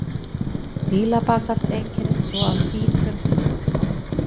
Dílabasalt einkennist svo af hvítum plagíóklas-dílum.